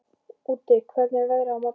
Úddi, hvernig er veðrið á morgun?